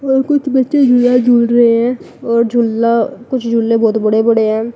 और कुछ बच्चे झूला झूल रहे हैं और झूला कुछ झूले बहोत बड़े बड़े हैं।